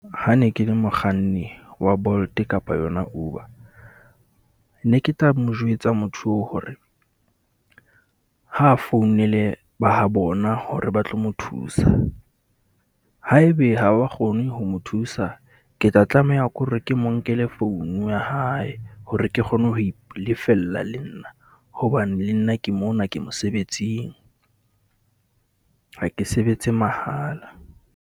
Ha ne ke le mokganni wa Bolt kapa yona Uber ne ke tla mo jwetsa motho oo hore, ha founele ba ha bona hore ba tlo mo thusa. Haebe ha wa kgone ho mo thusa, ke tla tlameha ke hore ke mo nkele founu ya hae hore ke kgone ho e lefella le nna. Hobane le nna ke mona ke mosebetsing, ha ke sebetse mahala.